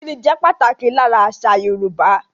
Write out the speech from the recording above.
Ìkíni jẹ pàtàkì lára àṣà Yorùbá